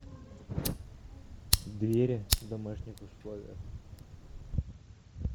двери в домашних условиях